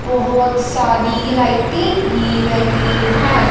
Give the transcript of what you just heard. बहोत सारी लाईटे भी लगी है।